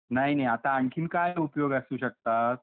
नाही नाही , आता आणखीन काय उपयोग असू शकतात ?